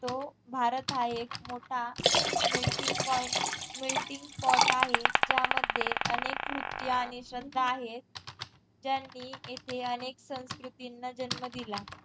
तो भारत हा एक मोठा melting point meeting pot आहे ज्या मध्ये अनेक नृत्य आणि श्रद्धा आहेत ज्यांनी इथे अनेक संस्कृतींना जन्म दिला